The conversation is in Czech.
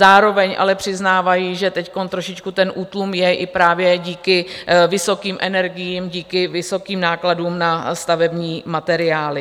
Zároveň ale přiznávají, že teď trošičku ten útlum je i právě díky vysokým energiím, díky vysokým nákladům na stavební materiály.